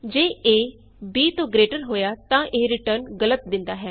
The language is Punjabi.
ਜੇ ਏ b ਤੋਂ ਗਰੇਟਰ ਹੋਇਆ ਤਾਂ ਇਹ ਰਿਟਰਨ ਗਲਤ ਦਿੰਦਾ ਹੈ